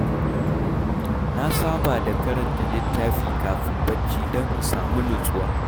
Na saba da karanta littafi kafin barci don in samu nutsuwa.